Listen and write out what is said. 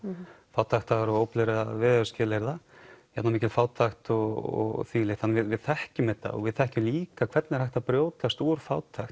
fátæktar og illra veðurskilyrða hérna var mikil fátækt og því um líkt þannig við þekkjum þetta og við þekkjum líka hvernig er hægt að brjótast úr fátækt